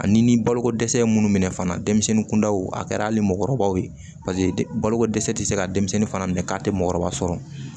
Ani ni baloko dɛsɛ ye minnu minɛ fana denmisɛnnin kundaw a kɛra hali mɔɔkɔrɔbaw ye paseke baloko dɛsɛ ti se ka denmisɛnnin fana minɛ k'a tɛ mɔgɔkɔrɔba sɔrɔ